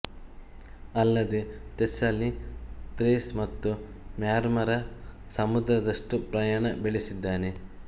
ಅಲ್ಲದೇ Thessaly Thrace ಮತ್ತು Marmara ಸಮುದ್ರ ದಷ್ಟು ಪ್ರಯಾಣ ಬೆಳೆಸಿದ್ದಾನೆ